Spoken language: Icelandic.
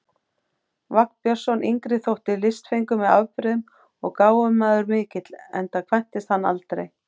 Vagn Björnsson yngri þótti listfengur með afbrigðum og gáfumaður mikill, enda kvæntist hann aldrei.